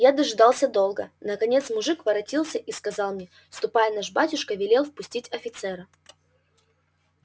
я дожидался долго наконец мужик воротился и сказал мне ступай наш батюшка велел впустить офицера